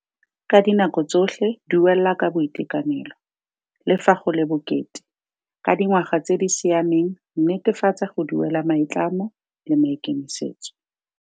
Ka dinako tsotlhe duela ka boitekanelo, le fa go le bokete. Ka dingwaga tse di siameng netefatsa go duela maitlamo le maikemisetso.